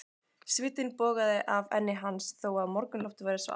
Svitinn bogaði af enni hans þó að morgunloftið væri svalt.